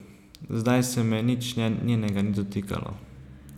Zdaj se me nič njenega ni dotikalo.